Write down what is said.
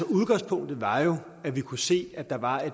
udgangspunktet var jo at vi kunne se at der var